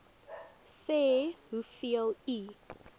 sê hoeveel u